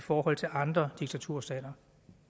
i forhold til andre diktaturstater